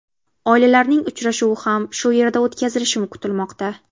Oilalarning uchrashuvi ham shu yerda o‘tkazilishi kutilmoqda.